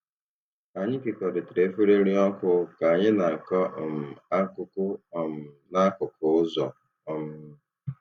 Anyị kekọrịtara efere nri ọkụ ka anyị na-akọ um akụkọ um n'akụkụ ụzọ. um